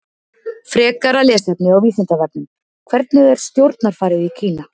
Frekara lesefni á Vísindavefnum: Hvernig er stjórnarfarið í Kína?